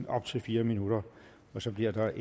op til fire minutter og så bliver der